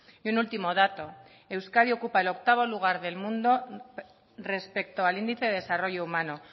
y un último dato euskadi ocupa el octavo lugar del mundo respecto al índice de desarrollo humano